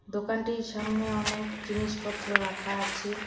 দোকানটির সামনে অনেক জিনিসপত্র রাখা আছে।